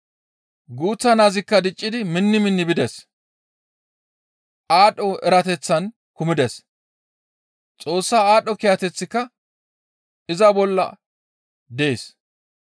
Guuththa naazikka diccidi minni minni bides; aadho erateththan kumides; Xoossa aadho kiyateththika iza bolla dees.